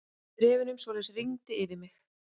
Bréfunum svoleiðis rigndi yfir mig.